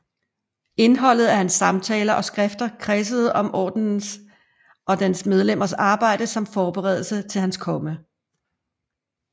Indholdet af hans samtaler og skrifter kredsede om Ordenens og dens medlemmers arbejde som forberedelse til Hans Komme